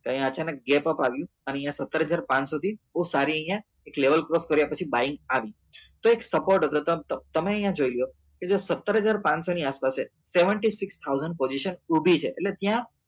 ત્યાં અચાનક gap up આવ્યું અને અહિયાં સત્તર હજાર પાંચસો થી બઉ સારી અહિયાં એક level કર્યા પછી આવી તો એક support હતો તમ તમે અહિયાં જોઈ લો કે જો સત્તર હજાર પાંચસો ની આસપાસ છે seventeen six thousand position ઉભી છે એત્ય્લે ત્યાં